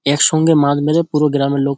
এর সঙ্গে মাছ মেরে পুরো গ্রামের লোক--